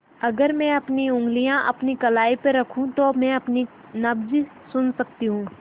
अगर मैं अपनी उंगलियाँ अपनी कलाई पर रखूँ तो मैं अपनी नब्ज़ सुन सकती हूँ